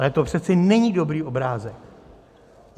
Ale to přece není dobrý obrázek.